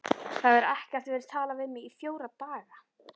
Það hefur ekkert verið talað við mig í fjóra daga.